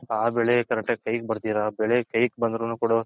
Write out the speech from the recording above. ಆ ಬೆಳೆ correct ಆಗಿ ಕೈ ಗ್ ಬರ್ದಿರ ಬೆಳೆ ಕೈಗ್ ಬರ್ದಿರ